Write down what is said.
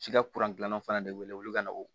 Si ka gilannan fana de wele wuli ka na